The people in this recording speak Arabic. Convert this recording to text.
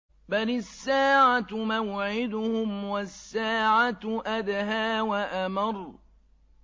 بَلِ السَّاعَةُ مَوْعِدُهُمْ وَالسَّاعَةُ أَدْهَىٰ وَأَمَرُّ